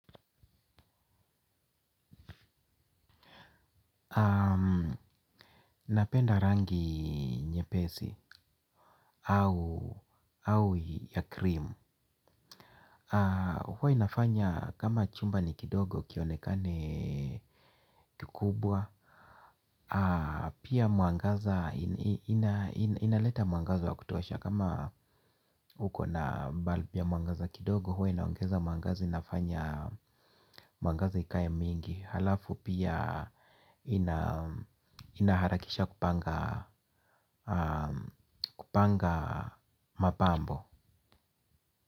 Napenda rangi nye pesi au ya krimu. Huwa inafanya kama chumba ni kidogo kionekane kikubwa. Pia mwangaza inaleta mwangaza wa kutosha. Kama uko na bulb ya mwangaza kidogo huwa inaongeza mwangaza inafanya mwangaza ikae mingi. Halafu pia inaharakisha kupanga mapambo.